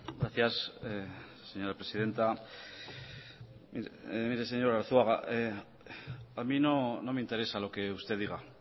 gracias señora presidenta mire señor arzuaga a mí no me interesa lo que usted diga